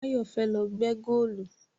Báyọ̀ fẹ́ lọ gbẹ́ góòlù